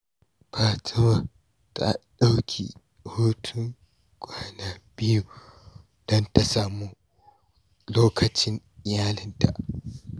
Fatima ta ɗauki hutun kwana biyu don ta sami lokacin iyalinta.